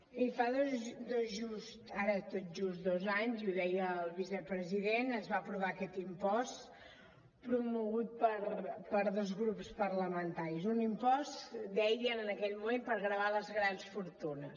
bé fa ara tot just dos anys ho deia el vicepresident es va aprovar aquest impost promogut per dos grups parlamentaris un impost deien en aquell moment per gravar les grans fortunes